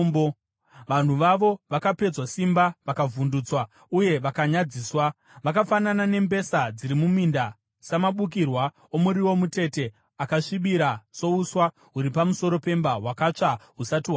Vanhu vawo, vakapedzwa simba, vakavhundutswa uye vakanyadziswa. Vakafanana nembesa dziri muminda, samabukira omuriwo mutete akasvibira, souswa huri pamusoro pemba, hwakatsva husati hwakura.